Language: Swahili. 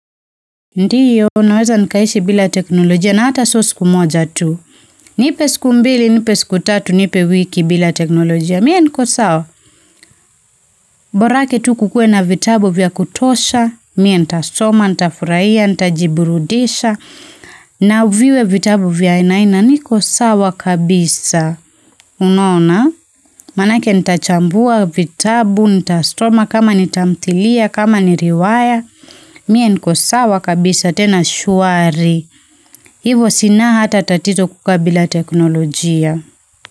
Ndio, naweza nikaishi bila teknolojia na hata sio siku moja tu. Nipe siku mbili, nipe siku tatu, nipe wiki bila teknolojia. Mie niko sawa? Borake tu kukue na vitabu vya kutosha, mie nita soma, nita furahia, nitaji burudisha, na viwe vitabu vya aina hii na niko sawa kabisa. Unaona? Manake nita chambua vitabu, nita soma kama ni tamthilia, kama ni riwaya, mie niko sawa kabisa tena shwari. Hivyo sina hata tatito kukaa bila teknolojia.